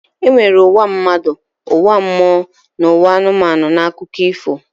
E nwere ụwa mmadụ, ụwa mmụọ na ụwa anụmanụ n'akụkọ ifo.